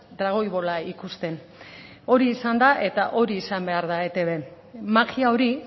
dragoi bola ikusten hori izan da eta hori izan behar da eitb magia hori